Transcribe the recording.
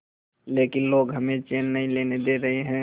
लेकिन लोग हमें चैन नहीं लेने दे रहे